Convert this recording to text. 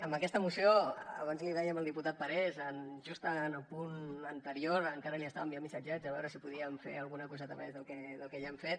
amb aquesta moció abans li dèiem al diputat parés just en el punt anterior encara li estava enviant missatgets a veure si podíem fer alguna coseta més del que ja hem fet